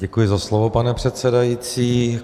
Děkuji za slovo, pane předsedající.